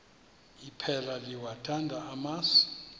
iphela liyawathanda amasi